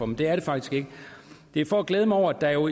men det er det faktisk ikke det er for at glæde mig over at der jo